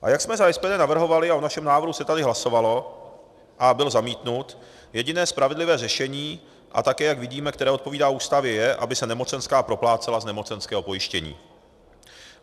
A jak jsme za SPD navrhovali a o našem návrhu se tady hlasovalo a byl zamítnut, jediné spravedlivé řešení, a také, jak vidíme, které odpovídá Ústavě, je, aby se nemocenská proplácela z nemocenského pojištění.